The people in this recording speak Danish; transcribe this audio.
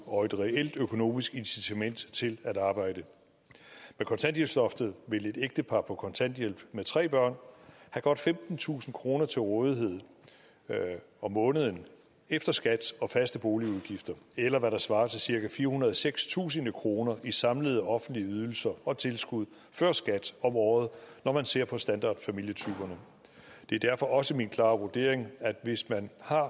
og et reelt økonomisk incitament til at arbejde med kontanthjælpsloftet vil et ægtepar på kontanthjælp med tre børn have godt femtentusind kroner til rådighed om måneden efter skat og faste boligudgifter eller hvad der svarer til cirka firehundrede og sekstusind kroner i samlede offentlige ydelser og tilskud før skat om året når man ser på standardfamilietyperne det er derfor også min klare vurdering at hvis man har